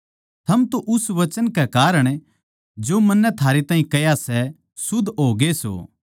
थम तो उस वचन कै कारण जो मन्नै थारैताहीं कह्या सै शुद्ध होगे सो